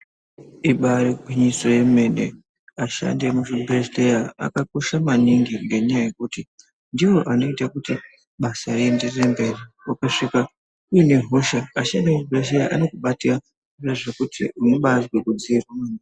Ibarigwinyiso yemene vashandi vemuzvibhedhlera vakakosha maningi ngenyaya yekuti ndivo vanoita kuti basa rienderere mberi ukasvika une hosha anokubatsura zvekuti unobazwe kudziirwa .